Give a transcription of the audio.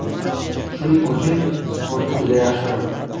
Shuning uchun sportni juda yaxshi ko‘raman.